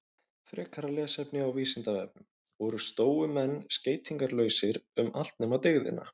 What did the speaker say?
Frekara lesefni á Vísindavefnum: Voru stóumenn skeytingarlausir um allt nema dygðina?